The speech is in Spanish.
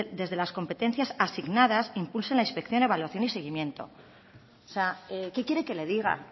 desde las competencias asignadas impulsen la inspección evaluación y seguimiento qué quiere que le diga